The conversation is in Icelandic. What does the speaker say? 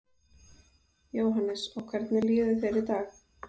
Jóhannes: Og hvernig líður þér í dag?